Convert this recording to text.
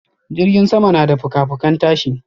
jirgin sama na da fuka-fukan tashi.